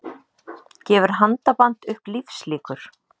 Gefur handaband upp lífslíkur